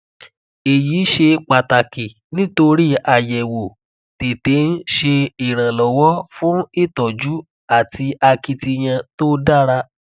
eyi ṣe pataki nitori ayẹwo tete n ṣe iranlọwọ fun itọju ati akitiyan to dara